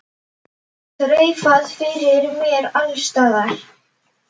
Þreifað fyrir mér alls staðar.